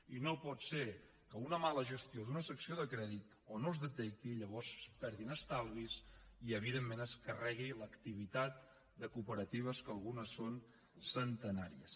i no pot ser que una mala gestió d’una secció de crèdit no es detecti i llavors es perdin estalvis i evidentment es carregui l’activitat de cooperatives que algunes són centenàries